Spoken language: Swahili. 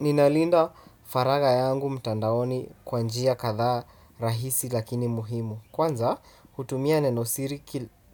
Ninalinda faraga yangu mtandaoni kwa njia kadha rahisi lakini muhimu. Kwanza hutumia nenosiri